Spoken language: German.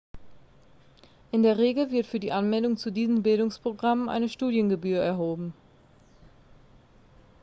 in der regel wird für die anmeldung zu diesen bildungsprogrammen eine studiengebühr erhoben